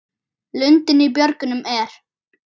Lundinn í björgum er.